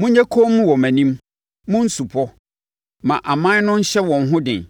“Monyɛ komm wɔ mʼanim, mo nsupɔ! Ma aman no nhyɛ wɔn ho den!